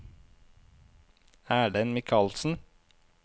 Erlend Mikalsen